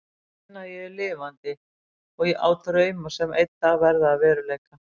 Ég finn að ég er lifandi og á drauma sem einn dag verða að veruleika.